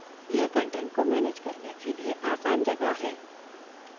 यह कंटेंट को manage करने के लिए आसान जगह है